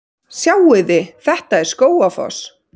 Sjáiði! Þetta er Skógafoss.